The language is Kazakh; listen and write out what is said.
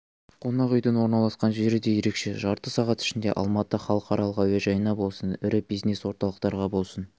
қонақүйдің орналасқан жері де ерекше жарты сағат ішінде алматы халықаралық әуежайына болсын ірі бизнес-орталықтарға болсын